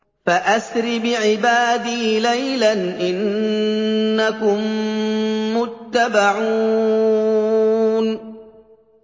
فَأَسْرِ بِعِبَادِي لَيْلًا إِنَّكُم مُّتَّبَعُونَ